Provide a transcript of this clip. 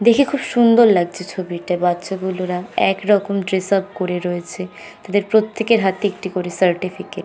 দেখে খুব সুন্দর লাগছে ছবিটা বাচ্চা গুলোরা একরকম ড্রেস আপ করে রয়েছে তাদের প্রত্যেকের হাতে একটি করে সার্টিফিকেট ।